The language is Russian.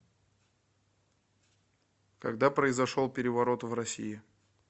когда произошел переворот в россии